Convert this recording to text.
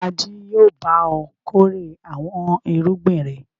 Ta jí yóò bá ọ kórè àwọn irúgbìn rẹ?